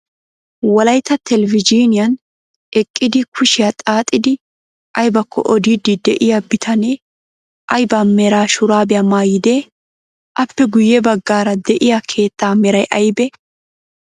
Wolaytta telvejiiniyaan eqqidi kushiyaa xaaxidi aybakko odiiddi de'iyaa bitanee aybaa mera shuraabiya maayyidee? Appe guyye baggaara de'iyaa keettaa meray aybee?